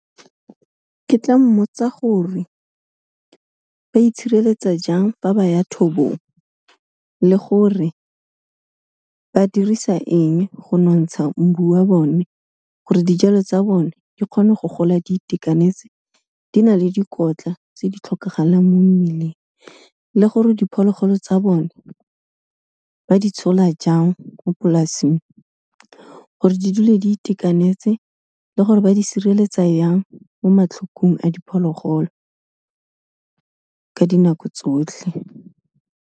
Ke tla mmotsa gore ba itshireletsa jang fa ba ya thobong, le gore ba dirisa eng go nontsha mbu wa bone gore dijalo tsa bone di kgone go gola di itekanetse, di na le dikotla tse di tlhokagalang mo mmileng le gore diphologolo tsa bone ba di tshola jang mo polasing gore di dule di itekanetse le gore ba di sireletsa yang mo matlhokong a diphologolo, ka dinako tsotlhe.